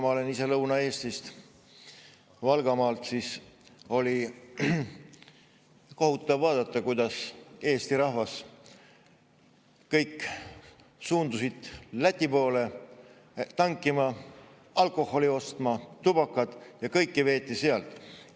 Ma olen ise Lõuna-Eestist, Valgamaalt, ja kohutav oli vaadata, kuidas kogu Eesti rahvas suundus Lätti tankima, alkoholi ostma, tubakat ja kõike veeti sealt.